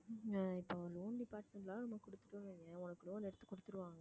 இப்ப loan department ல கொடுத்துட்டோன்னு வைங்களேன், உனக்கு loan எடுத்து கொடுத்துடுவாங்க